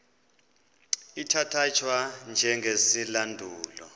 ithatya thwa njengesilandulo